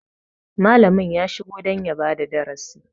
Malami ya shiga don ya bada darasi.